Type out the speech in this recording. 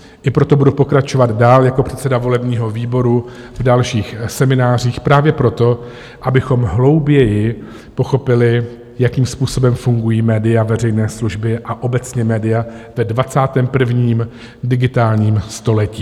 I proto budu pokračovat dál jako předseda volebního výboru v dalších seminářích právě proto, abychom hlouběji pochopili, jakým způsobem fungují média veřejné služby a obecně média ve 21. digitálním století.